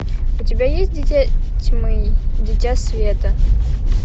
у тебя есть дитя тьмы дитя света